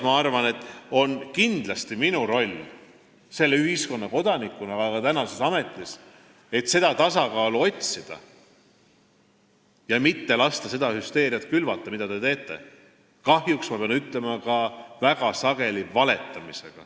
Ma arvan, et kindlasti on minu roll selle ühiskonna kodanikuna ja ka tänases ametis see, et tasakaalu otsida ja mitte lasta külvata hüsteeriat, mida te teete, kahjuks, ma pean ütlema, väga sageli ka valetades.